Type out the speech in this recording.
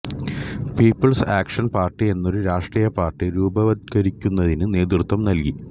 people's action party എന്നൊരു രാഷ്ട്രീയപാർട്ടി രൂപവത്കരിക്കുന്നതിനും നേതൃത്വം നൽകി